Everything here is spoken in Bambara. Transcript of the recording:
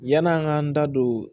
Yan'an k'an da don